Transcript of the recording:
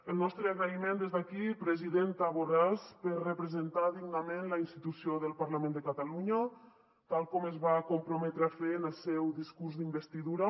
el nostre agraïment des d’aquí presidenta borràs per representar dignament la institució del parlament de catalunya tal com es va comprometre a fer en el seu discurs d’investidura